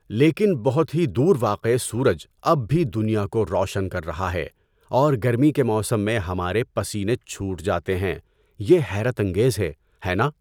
لیکن بہت ہی دور واقع سورج اب بھی دنیا کو روشن کر رہا ہے اور گرمی کے موسم میں ہمارے پسینے چھوٹ جاتے ہیں، یہ حیرت انگیز ہے، ہے نا؟